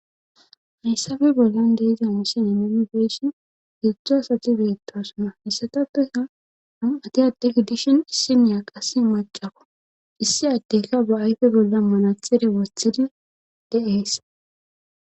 hayssabe bollan deeza mossen inimifeshin gidzdzo asati beettasona hessatappeha han ati addeki dishin issimiya qasse macako issi addeka ba ayfe bolla manathere wothidi deees